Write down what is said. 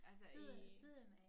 Altså i